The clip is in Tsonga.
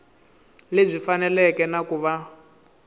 lebyi faneleke na ku va